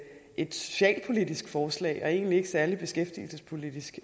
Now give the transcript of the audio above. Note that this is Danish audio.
et socialpolitisk forslag og egentlig ikke særlig beskæftigelsespolitisk